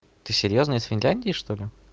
ты серьёзно из финляндии что ли